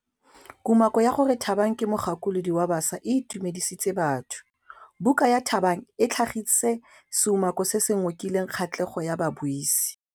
Kumakô ya gore Thabang ke mogakolodi wa baša e itumedisitse batho. Buka ya Thabang e tlhagitse seumakô se se ngokileng kgatlhegô ya babuisi.